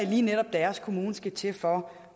lige netop deres kommune skal til for